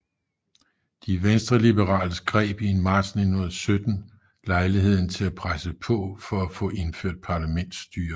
De venstreliberale greb i marts 1917 lejligheden til at presse på for at få indført parlamentsstyre